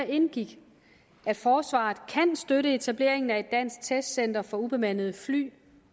indgik at forsvaret kan støtte etableringen af et dansk testcenter for ubemandede fly